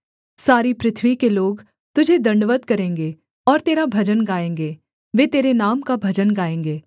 सारी पृथ्वी के लोग तुझे दण्डवत् करेंगे और तेरा भजन गाएँगे वे तेरे नाम का भजन गाएँगे सेला